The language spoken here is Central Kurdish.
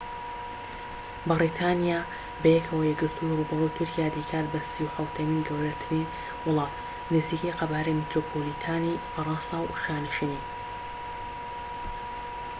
ڕووبەری تورکیا دەیکات بە 37ەمین گەورەترن وڵات، نزیکەی قەبارەی میترۆپۆلیتانی فەرەنسا و شانشینی‎ ‎یەکگرتوو‎ ‎بەریتانیایە بەیەکەوە